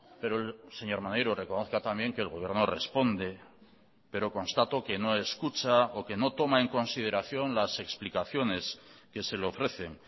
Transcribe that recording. pero señor maneiro reconozca también que el gobierno responde pero constato que no escucha o que no toma en consideración las explicaciones que se le ofrecen